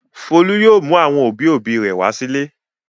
Folú yóò mú àwọn òbí-òbí rẹ̀ wá sílé.